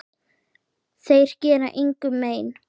Þeir gera engum mein.